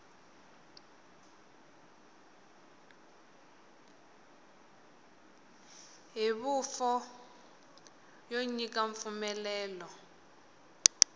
hi huvo yo nyika mpfumelelo